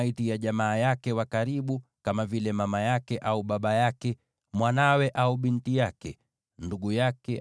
isipokuwa jamaa wake wa karibu, kama vile mama yake au baba yake, mwanawe au binti yake, ndugu yake,